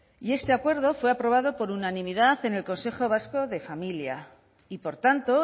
este acuerdo fue aprobado por unanimidad en el consejo vasco de familia y por tanto